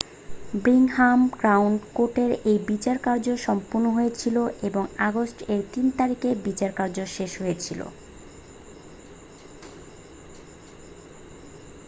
Birmingham Crown কোর্টে এই বিচারকার্য সম্পন্ন হয়েছিল এবং আগস্ট এর 3 তারিখ বিচারকার্য শেষ হয়েছিল